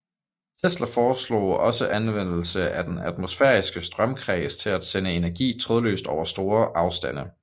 Tesla foreslog også anvendelse af den atmosfæriske strømkreds til at sende energi trådløst over store afstande